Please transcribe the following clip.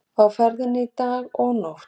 Á ferðinni í dag og nótt